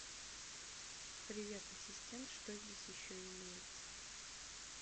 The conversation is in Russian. привет ассистент что здесь еще имеется